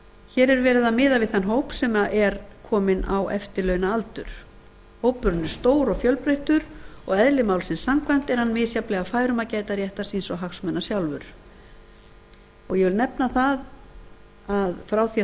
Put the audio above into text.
hér er verið að miða við þann hóp sem er kominn á eftirlaunaaldur hópurinn er stór og fjölbreyttur og eðli málsins samkvæmt er hann misjafnlega fær um að gæta réttar síns og hagsmuna sjálfur ég vil nefna að frá því að